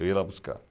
Eu ia lá buscar.